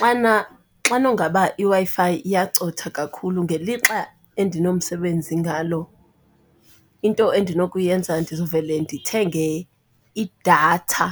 Xana xanongaba iWi-Fi iyacotha kakhulu ngelixa endinomsebenzi ngalo, into endinokuyenza ndizovele ndithenge idatha